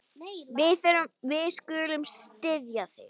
Við skulum styðja þig.